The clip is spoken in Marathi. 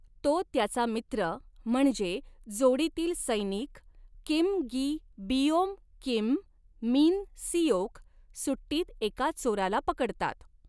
तो त्याचा मित्र म्हणजे जोडीतील सैनिक Kim Gi Beom Kim Min Seok सुट्टीत एका चोराला पकडतात.